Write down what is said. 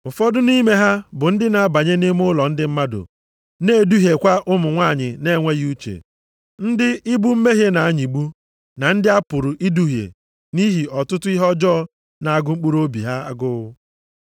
Ụfọdụ nʼime ha bụ ndị na-abanye nʼime ụlọ ndị mmadụ na-eduhiekwa ụmụ nwanyị na-enweghị uche, ndị ibu mmehie ha na-anyịgbu, na ndị a pụrụ iduhie nʼihi ọtụtụ ihe ọjọọ na-agụ mkpụrụobi ha agụụ.